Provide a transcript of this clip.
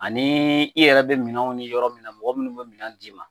Ani i yɛrɛ bɛ minɛnw ni yɔrɔ min mɔgɔ minnu bɛ minɛn d'i ma